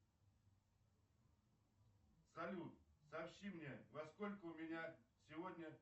салют сообщи мне во сколько у меня сегодня